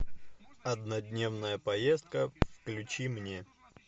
однодневная поездка включи мне